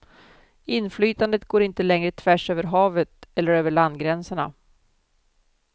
Inflytandet går inte längre tvärs över havet eller över landgränserna.